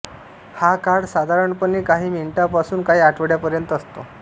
हा काळ साधारणपणे काही मिनिटांपासून काही आठवड्यांपर्यंत असतो